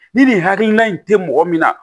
Ni nin hakilina in tɛ mɔgɔ min na